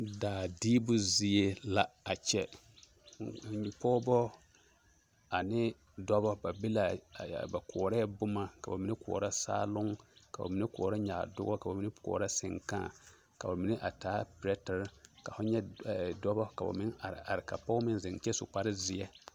Daa diibu zie la a kyɛ, pɔgebɔ ane dɔbɔ, ba be l'a, ba koɔrɛɛ boma, ka bamine koɔrɔ saaloŋ ka bamine koɔrɔ nyaadoɔ ka bamine koɔrɔ seŋkãã, ka bamine a taa perɛtere ka ho nyɛ dɔbɔ ka ba meŋ are are ka pɔge meŋ zeŋ kyɛ su kpare zeɛ.